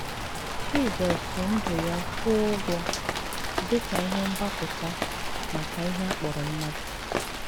Jisọs ji ndụ ya kwụọ ụgwọ dị ka ihe mgbapụta maka ihe a kpọrọ mmadụ.